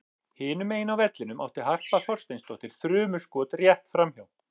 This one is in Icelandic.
Hinum megin á vellinum átti Harpa Þorsteinsdóttir þrumuskot rétt framhjá.